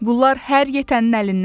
Bunlar hər yetənin əlindən gəlməz.